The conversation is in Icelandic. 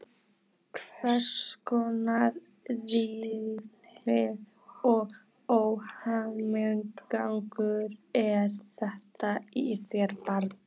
Hverskonar stífni og óhemjugangur er þetta í þér, barn?